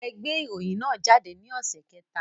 Ẹ gbé ìròyìn náà jáde ní ọ̀sẹ̀ kẹta